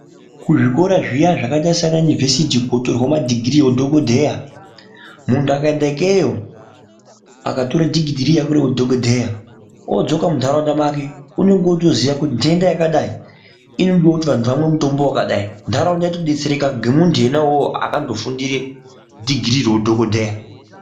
Kuzvikora zviya zvakaite semaUniversity kunotorwe madegree ewudhokodheya muntu akaenda ikeyo akatore degere rake re udhokodheya odzoka munharaunda make unonga akutoziya kuti nhenda yakadai inode kuti anhu amwe mutombo wakadai nharaunda yotodetsereka ngemuntu wona uwowo wakandofundira degree reudhokodheya.